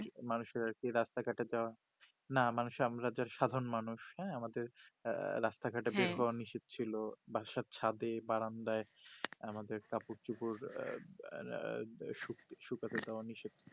মানুয়ের আর কি রাস্তা ঘটে যা না মানুষ যে আর সাধারণ মানুষ হ্যা আমাদের রাস্তা ঘাটে হ্যা বের হওয়া নিষেদ ছিল বাসার ছাদে বারান্দায় আমাদের কাপড় চুপর আঃ আঃ শুকাতে দিওয়া নিষেদ